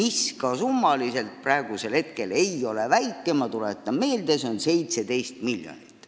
See summa ei ole sugugi väike – ma tuletan meelde, see on 17 miljonit.